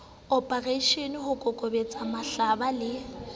oporeishene ho kokobetsa mahlaba le